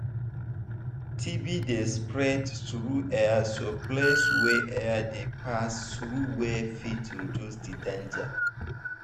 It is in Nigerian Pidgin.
tb dey spread through airso place wey air dey pass through well fit reduce the danger